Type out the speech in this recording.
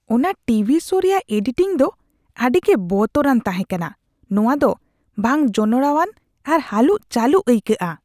ᱚᱱᱟ TV show ᱨᱮᱭᱟᱜ editing ᱫᱚ ᱟᱹᱰᱤᱜᱮ ᱵᱚᱛᱚᱨᱟᱱ ᱛᱟᱦᱮᱸ ᱠᱟᱱᱟ ᱾ ᱱᱚᱶᱟ ᱫᱚ ᱵᱟᱝ ᱡᱚᱱᱚᱲᱟᱣᱟᱱ ᱟᱨ ᱦᱟᱹᱞᱩᱜᱼᱪᱟᱹᱞᱩᱜ ᱟᱹᱭᱠᱟᱹᱜᱼᱟ ᱾